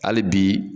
Hali bi